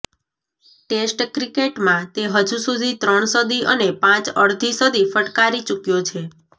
test ક્રિકેટમાં તે હજુ સુધી ત્રણ સદી અને પાંચ અડધી સદી ફટકારી ચુક્યો છે